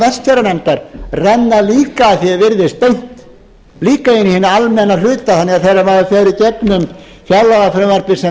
vestfjarðanefndar renna líka að því er virðist beint líka inn í hinn almenna hluta þannig að þegar maður fer í gegnum fjárlagafrumvarpið sem